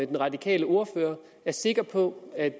den radikale ordfører er sikker på at